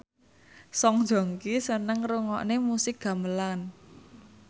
Song Joong Ki seneng ngrungokne musik gamelan